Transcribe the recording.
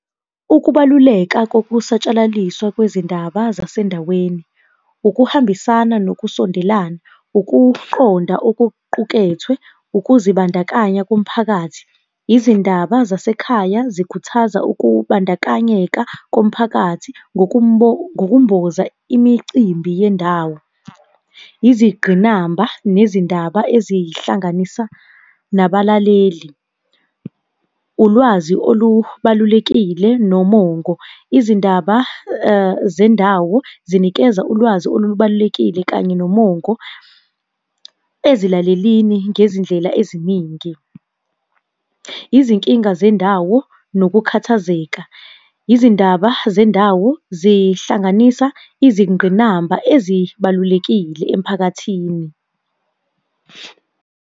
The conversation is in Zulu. Ukubaluleka kokusatshalaliswa kwezindaba zasendaweni. Ukuhambisana nokusondelana, ukuqonda okuqukethwe, ukuzibandakanya komphakathi, izindaba zasekhaya zikhuthaza ukubandakanyeka komphakathi ngokumboza imicimbi yendawo. Izigqinamba, nezindaba ezihlanganisa nabalaleli. Ulwazi olubalulekile nomongo, izindaba zendawo zinikeza ulwazi olubalulekile kanye nomongo ezilalelini ngezindlela eziningi. Izinkinga zendawo nokukhathazeka, izindaba zendawo zihlanganisa izingqinamba ezibalulekile emphakathini.